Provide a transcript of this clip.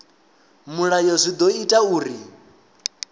mulayo zwi ḓo ita uri